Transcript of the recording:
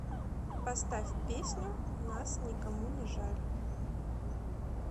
поставь песню нас никому не жаль